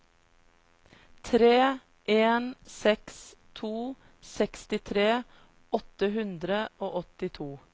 tre en seks to sekstitre åtte hundre og åttito